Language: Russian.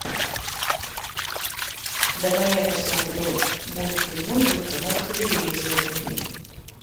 давай я посмотрю мультимузыку на телевизоре